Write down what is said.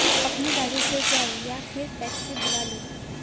अपनी गाड़ी से जाएं या फिर टैक्सी बुला लें